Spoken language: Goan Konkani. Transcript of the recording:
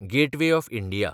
gateway of India